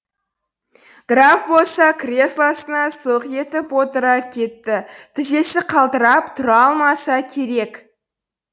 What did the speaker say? граф болса креслосына сылқ етіп отыра кетті тізесі қалтырап тұра алмаса керек